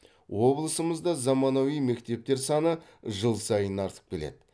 облысымызда заманауи мектептер саны жыл сайын артып келеді